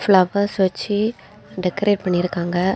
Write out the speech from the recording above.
Flowers வச்சி decorate பண்ணிருக்காங்க.